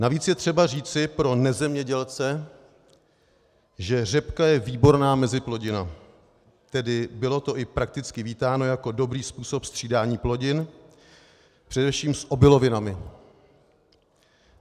Navíc je třeba říci pro nezemědělce, že řepka je výborná meziplodina, tedy bylo to i prakticky vítáno jako dobrý způsob střídání plodin, především s obilovinami.